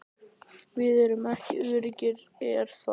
Við erum ekki öruggir er það?